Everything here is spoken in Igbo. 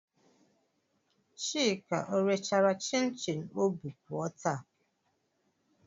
Chika ọ rechara chin chin ọ bu pụọ taa?